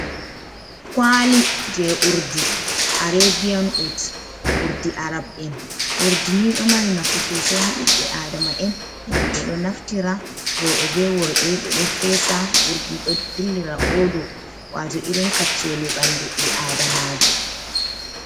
Kwali je urdi arabian ut, urdi arab'en urdi ni ɗo mari nafu sosei ha ɓiɓɓe adama'en, ngam ɓe ɗo naftira roɓe be worɓe ɓe ɗo fesa urdi ɗo dillina oɗo, wato irin kaccele ɓandu bii adamajo.